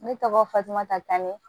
Ne tɔgɔ fatumata kan ne